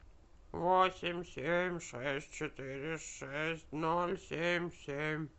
восемь семь шесть четыре шесть ноль семь семь